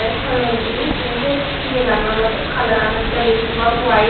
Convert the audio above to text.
te tolendi te se yegano olodey colour lan olodey besibak white.